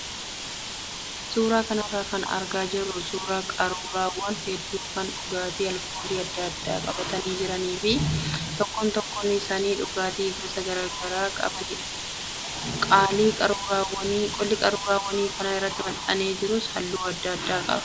Suuraa kanarraa kan argaa jirru suuraa qaruuraawwan hedduu kan dhugaatii alkoolii adda addaa qabatanii jiranii fi tokkoon tokkoon isaanii dhugaatii gosa garaagaraa qabanidha. Qolli qaruuraawwan kana irratti maxxanee jirus halluu adda addaa qaba.